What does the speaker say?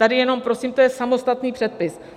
Tady jenom prosím, to je samostatný předpis.